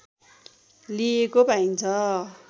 लिइएको पाइन्छ